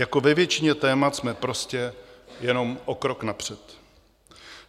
Jako ve většině témat jsme prostě jenom o krok napřed.